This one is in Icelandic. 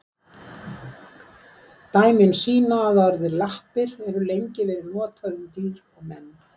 Dæmi sýna að orðið lappir hefur lengi verið notað um dýr og menn.